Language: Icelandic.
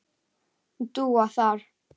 Dúa þar.